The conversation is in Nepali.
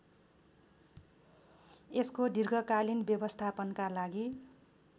यसको दीर्घकालीन व्यवस्थापनका लागि